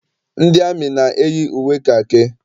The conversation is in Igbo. Ndị amị na- eyi uwe kakị.